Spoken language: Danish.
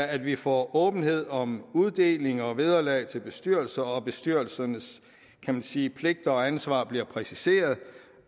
at vi får åbenhed om uddeling og vederlag til bestyrelser det at bestyrelsernes kan man sige pligter og ansvar bliver præciseret